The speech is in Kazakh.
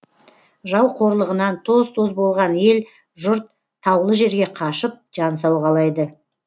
жау қорлығынан тоз тоз болған ел жұрт таулы жерге қашып жан сауғалайды